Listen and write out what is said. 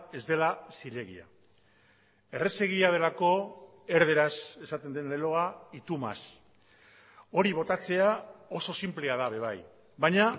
ez dela zilegia errazegia delako erdaraz esaten den leloa y tu más hori botatzea oso sinplea da ere bai baina